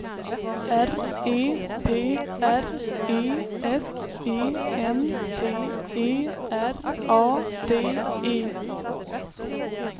R E P R E S E N T E R A D E